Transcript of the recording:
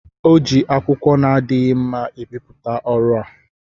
o ji akwụkwọ na-adịghị mma ebipụta ọrụ a.